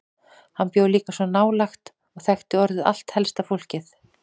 Hann bjó líka svo nálægt og þekkti orðið allt helsta fólkið.